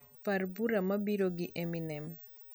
par bura mabiro gi eminem